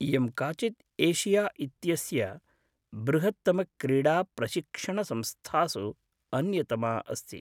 इयं काचित् एषिया इत्यस्य बृहत्तमक्रीडाप्रशिक्षणसंस्थासु अन्यतमा अस्ति।